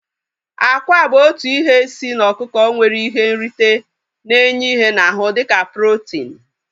Akwa bụ otu ihe si n'ọkụkọ nwere ihe nrite na-enye ihe n'ahu dịka protin